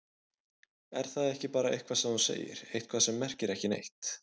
Er það ekki bara eitthvað sem þú segir, eitthvað sem merkir ekki neitt?